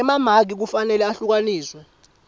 emamaki kufanele ehlukaniswe